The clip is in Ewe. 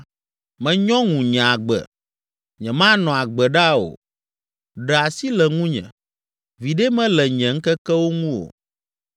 Menyɔ ŋu nye agbe, nyemanɔ agbe ɖaa o. Ɖe asi le ŋunye, viɖe mele nye ŋkekewo ŋu o.